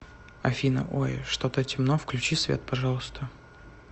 афина ой что то темно включи свет пожалуйста